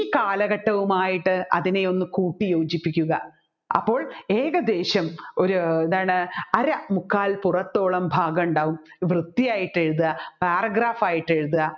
ഈ കാലഘട്ടവുമായിട്ട് അതിനെ ഒന്ന് കൂട്ടിയോജിപ്പിക്കുക അപ്പോൾ ഏകദേശം ഒരു അര മുക്കാൽ പുറത്തോളം ഭാഗമുണ്ടാവും വൃത്തിയായിട്ട് എഴുതുക paragraph ആയിട്ട് എഴുതുക